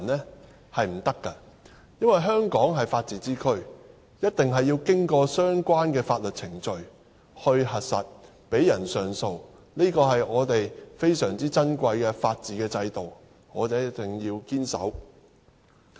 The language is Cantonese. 是不可以的，因為香港是法治之區，一定要經過相關的法律程序來核實，讓人上訴，這是我們非常珍貴的法治制度，我們一定要堅守。